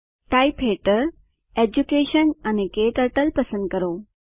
type હેઠળ education અને ક્ટર્ટલ પસંદ કરો